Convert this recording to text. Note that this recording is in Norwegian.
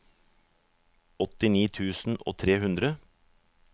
åttini tusen og tre hundre